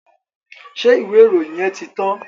Ṣé ìwé ìròyìn yẹn ti tán?